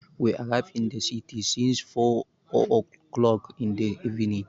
We arrived in the city since four o'clock in the evening.